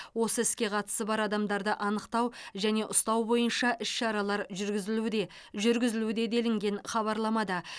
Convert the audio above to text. осы іске қатысы бар адамдарды анықтау және ұстау бойынша іс шаралар жүргізілуде жүргізілуде делінген хабарламада